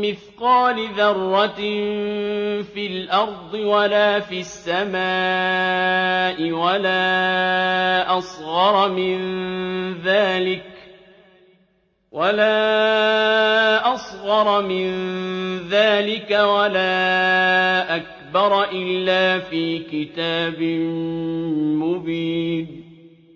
مِّثْقَالِ ذَرَّةٍ فِي الْأَرْضِ وَلَا فِي السَّمَاءِ وَلَا أَصْغَرَ مِن ذَٰلِكَ وَلَا أَكْبَرَ إِلَّا فِي كِتَابٍ مُّبِينٍ